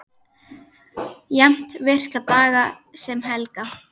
Jafnt virka daga sem helga.